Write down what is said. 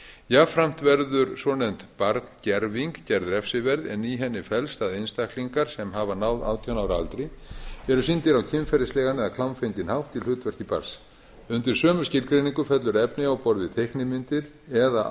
jafnframt verður svonefnd barngerving gerð refsiverð en í henni felst að einstaklingar sem hafa náð átján ára aldri eru sýndir á kynferðislegan eða klámfenginn hátt í hlutverki barns undir sömu skilgreiningu fellur efni á borð við teiknimyndir eða